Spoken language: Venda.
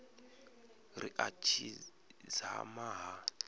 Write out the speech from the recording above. ri a tshi dzama ha